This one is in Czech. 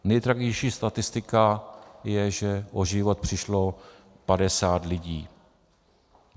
Nejtragičtější statistika je, že o život přišlo 50 lidí.